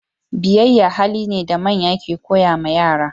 biyayya hali ne da manya ke koya ma yara